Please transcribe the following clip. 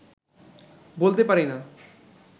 বলতে পারি না